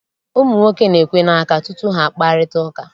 Ụmụ nwoke na-ekwe n'aka tutu ha akparịta ụka.